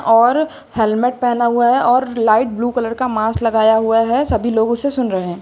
और हेलमेट पहना हुआ है और लाइट ब्लू कलर का मास्क लगाया हुआ है सभी लोग उसे सुन रहे है।